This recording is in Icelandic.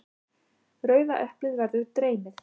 Rauða eplið verður dreymið.